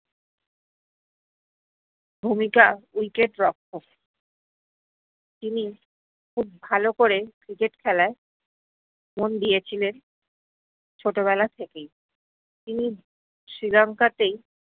ভূমিকা wicket রক্ষক তিনি খুব ভালো করে cricket খেলায়, মোন দিয়েছিলেন ছোটো বেলা থেকেই তিনি শ্রীলংকা তেই